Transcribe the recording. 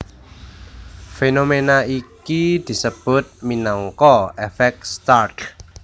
Fénoména iki disebut minangka èfèk Stark